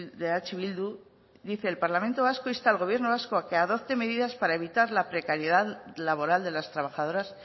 de eh bildu dice el parlamento vasco insta al gobierno vasco a que adopte medidas para evitar la precariedad laboral de las trabajadoras